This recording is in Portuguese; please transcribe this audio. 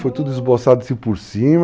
Foi tudo esboçado assim por cima.